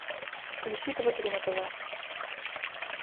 включи тв три на тв